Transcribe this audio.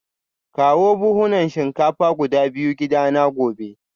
Kawo buhunan shinkafa guda biyu gidana gobe